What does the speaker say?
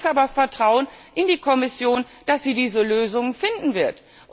wird. Ich setze aber Vertrauen in die Kommission, dass sie diese Lösung finden